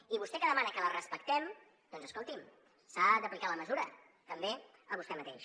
i vostè que demana que la respectem doncs escolti’m s’ha d’aplicar la mesura també a vostè mateix